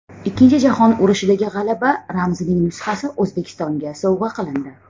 Ikkinchi jahon urushidagi g‘alaba ramzining nusxasi O‘zbekistonga sovg‘a qilindi .